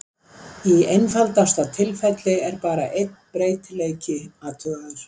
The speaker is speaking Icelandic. Í einfaldasta tilfelli er bara einn breytileiki athugaður.